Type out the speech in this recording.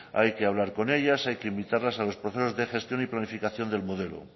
hay que hablar con ellas hay que invitarlas a los procesos de gestión y planificación del modelo